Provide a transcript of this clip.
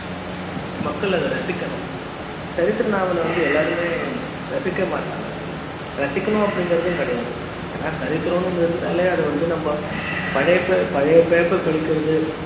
மக்கள் அத ரசிக்கணும் சரித்திர நாவல் வந்து எல்லாருமே ரசிக்க மாட்டாங்க ரசிக்கனும் அப்படிங்கறது கிடையாது ஏன்னா சரித்திரம்னு ஒன்னு இருந்தாலே அத வந்து நம்ம பழைய பழைய பேப்பர் படிக்கிறது